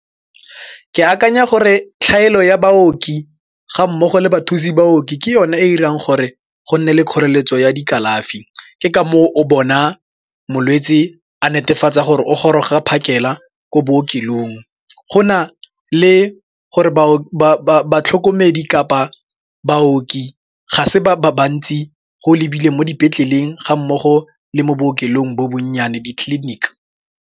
Ke akanya gore tlhaelo ya baoki ga mmogo le bathusi baoki ke yone e dirang gore go nne le kgoreletso ya dikalafi ke ka moo o bona molwetsi a netefatsa gore o goroga phakela ko bookelong. Go na le gore batlhokomedi kapa baoki ga se ba bantsi go lebile mo dipetleleng ga mmogo le mo bookelong bo bonnyane di-clinic.